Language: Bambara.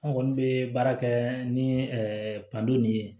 An kɔni bɛ baara kɛ ni nin ye